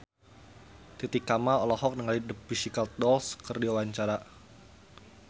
Titi Kamal olohok ningali The Pussycat Dolls keur diwawancara